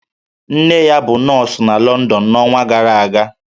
Nne ya bụ nọọsụ na London n'ọnwa gara aga